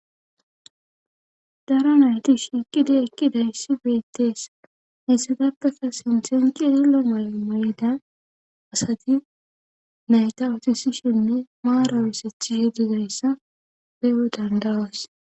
Dara nayti shiiqida ekki dayissi beettees hessadakasa sinthenki edillo maya mayda asati nayta ootisishenne maara wosethi shididayssa peewe dandawas.